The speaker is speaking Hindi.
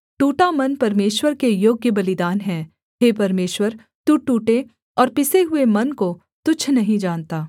टूटा मन परमेश्वर के योग्य बलिदान है हे परमेश्वर तू टूटे और पिसे हुए मन को तुच्छ नहीं जानता